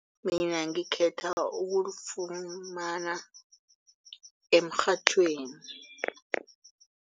Mina ngikhetha ukulifumana emrhatjhweni.